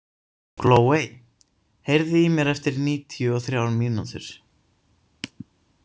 Glóey, heyrðu í mér eftir níutíu og þrjár mínútur.